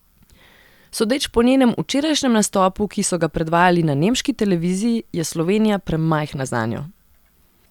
Sodeč po njenem včerajšnjem nastopu, ki so ga predvajali na nemški televiziji, je Slovenija premajhna zanjo.